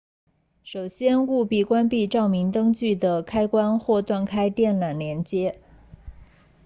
首先务必关闭照明灯具的开关或断开电缆连接